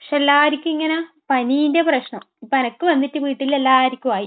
പക്ഷെ എല്ലാവർക്കും ഇങ്ങെനെ പനീന്‍റെ പ്രശ്നം. എനിക്ക് വന്നിട്ട് വീട്ടിൽ എല്ലാവർക്കുമായി.